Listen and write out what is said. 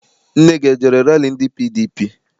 Nne gị ejere rali ndị PDP?